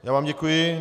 Já vám děkuji.